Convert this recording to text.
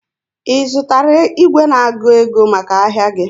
Ị zụtara igwe na-agụ ego maka ahịa gị?